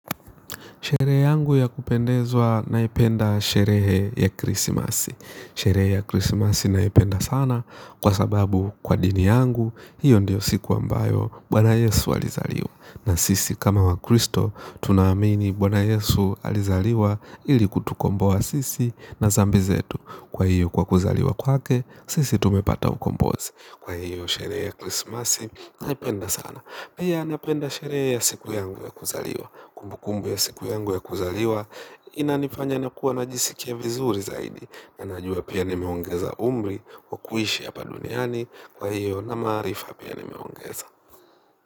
Sherehe yangu ya kupendezwa naipenda sherehe ya krismasi. Sherehe ya krismasi naipenda sana kwa sababu kwa dini yangu hiyo ndiyo siku ambayo bwana yesu alizaliwa na sisi kama wakristo tunaamini bwana yesu alizaliwa ili kutukomboa sisi na dhambi zetu kwa hiyo kwa kuzaliwa kwake sisi tumepata ukombozo naipenda sana. Hiyo anapenda sherehe ya siku yangu ya kuzaliwa. Kumbukumbu ya siku yangu ya kuzaliwa. Inaniganya nakuwa najisikia vizuri zaidi. Na najua pia nimeongeza umri. Kwa kuishi hapa duniani kwa hiyo na maarifa pia nimeongeza.